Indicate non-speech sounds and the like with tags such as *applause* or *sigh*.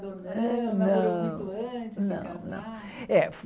*unintelligible* Foi muito antes Não não de casar É